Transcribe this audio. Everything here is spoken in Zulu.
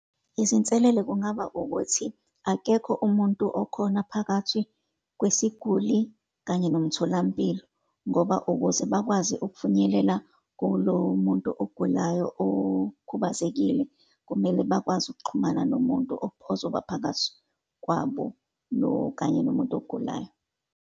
Izinselele kungaba ukuthi, akekho umuntu okhona phakathi kwesiguli kanye nomtholampilo, ngoba ukuze bakwazi ukufinyelela kulo muntu ogulayo, okhubazekile, kumele bakwazi ukuxhumana nomuntu ozoba phakathi kwabo, kanye nomuntu ogulayo.